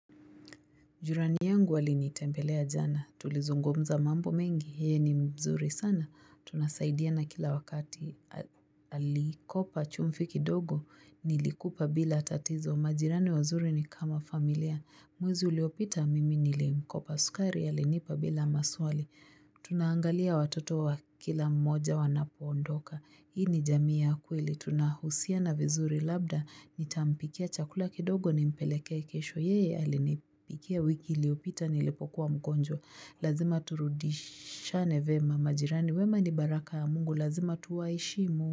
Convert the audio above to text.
Jirani yangu alini tempelea jana. Tulizungumza mambo mengi. Yeye ni mzuri sana. Tunasaidia na kila wakati alikopa chumvi kidogo. Nilikupa bila tatizo. Majirani wazuri ni kama familia. Mwezi uliopita mimi nilemko pasukari, alinipa bila maswali. Tunaangalia watoto wa kila mmoja wanapo ondoka. Hii ni jamii ya kweli, tunahusia na vizuri labda, nitampikia chakula kidogo ni mpelekee kesho. Yeye alinipikia wiki iliyopita nilipokuwa mgonjwa. Lazima turudishane vema majirani, wema ni baraka mungu, lazima tuwaheshimu.